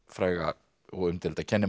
fræga og umdeilda